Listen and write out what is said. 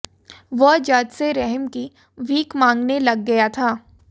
वह जज से रहम की भीख मांगने लग गया था